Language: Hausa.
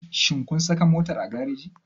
Shin kun saka motar a gareji?